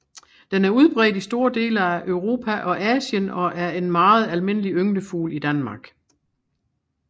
Den er udbredt i store dele af Europa og Asien og er en meget almindelig ynglefugl i Danmark